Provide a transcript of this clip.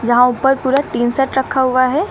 जहां ऊपर पूरा टीन सेट रखा हुआ है।